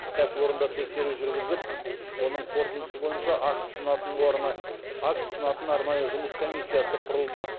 кәсіпорында тексеру жүргізіп оның қорытындысы бойынша акт ұсынатын арнайы жұмыс комиссиясы құрылды